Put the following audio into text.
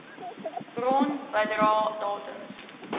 bron bedrae datums